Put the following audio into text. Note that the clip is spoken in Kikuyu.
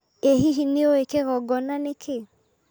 ĩ hihi nĩũĩ kĩgongona nĩ kĩĩ?